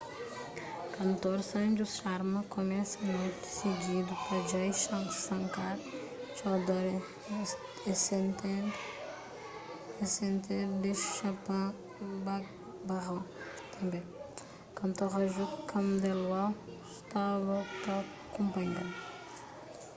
kantor sanju sharma kumesa noti sigidu pa jai shankar choudhary esented the chhappan bhog bhajan tanbê kantor raju khandelwal staba ta kunpanha-l